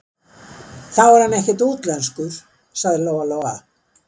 Þá er hann ekkert útlenskur, sagði Lóa-Lóa.